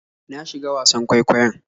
Na shiga wasan kwaikwayon.